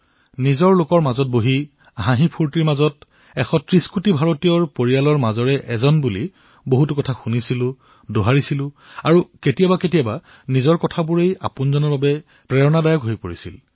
আপোনালোকৰ মাজত এক পাতলীয়া পৰিবেশত ১৩০ কোটি দেশবাসীৰ পৰিয়ালৰ সদস্যৰ ৰূপত বহু কথা শুনিছিলো দোহাৰিছিলো আৰু কেতিয়াবাকেতিয়াবা আমাৰ নিজৰ কথাই আমাৰ বাবে প্ৰেৰণাদায়ী হৈ পৰিছিল